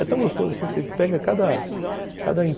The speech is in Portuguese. É tão gostoso, assim, você pega cada cada